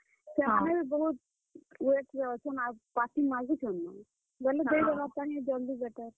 ସେଥରେ ବି ବହୁତ୍, wait ରେ ଅଛନ୍। ଆଉ party ମାଗୁଛନ୍ ନ। ବେଲେ ଦେଇ ଦେବାର ଟା ହି ଜଲଦି better ଆଏ।